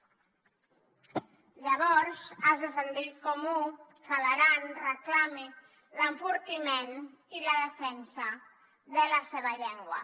llavors és de sentit comú que l’aran reclami l’enfortiment i la defensa de la seva llengua